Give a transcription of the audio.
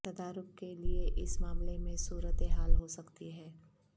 تدارک کے لیے اس معاملے میں صورت حال ہو سکتی ہے